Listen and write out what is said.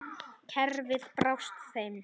Kerfið brást þeim.